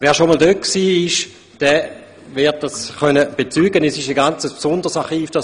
Wer schon einmal dort war, wird bezeugen können, dass es sich beim Gosteli-Archiv um eine ganz besondere Sache handelt.